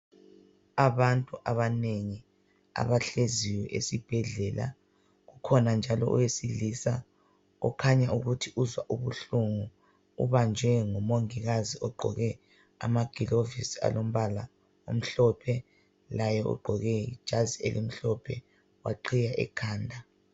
Abantu abanengi abahleziyo esibhedlela, kukhona njalo owesilisa okhanya ukuthi uzwa ubuhlungu ubanjwe ngumongikazi ogqoke amaglovisi alombala omhlophe, laye ugqoke ijazi elimhlophe waqhiya ikhanda.